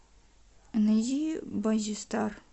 найди баззи стар